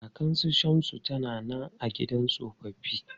Kakan su Shamsu ta na nan a gidan tsofaffi.